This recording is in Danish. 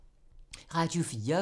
Radio 4